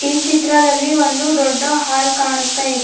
ಈ ಚಿತ್ರದಲ್ಲಿ ಒಂದು ದೊಡ್ಡ ಹಾಲ್ ಕಾಣಿಸ್ತಾಯಿದೆ.